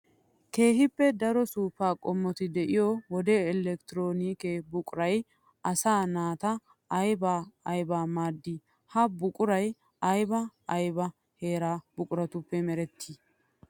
Keehippe daro suufa xoo'etti de'iyo wode electroonikke buquray asaa naata aybba aybba maadi? Ha buquray aybba aybba hara buquratuppe meretti?